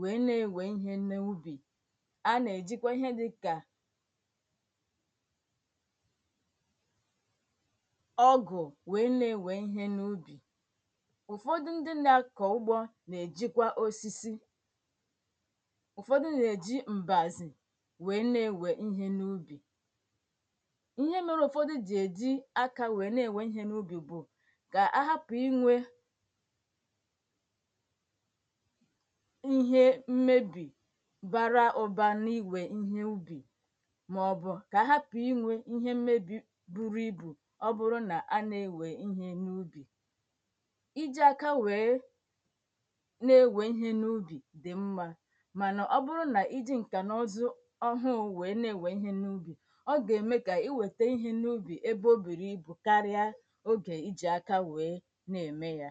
wee na-ewe ihe n'ubi a na-ejikwa ihe dịka ọgụ wee na-ewe ihe n'ubi Ụfọdụ ndị na-akọ ugbo na-ejikwa osisi ụfọdụ na-eji mbazi wee na-ewe ihe n'ubi Ihe mere ụfọdụ ji eji aka wee na-ewe ihe n'ubi bụ ka a hapụ inwe ihe mmebi bara ụba na-iwe ihe ubi maọbụ ka ahapụ inwe ihe mmebi buru ibu ọ bụrụ na a na-ewe ihe n'ubi Iji aka wee na-ewe ihe n'ubi dị mma mana oburu na iji nkanụzụ ọhụụ wee na-ewe ihe n'ubi ọ ga na-eme ka iweta ihe n'ubi ebe o buru ubi karịa oge ị ji aka wee na-eme ya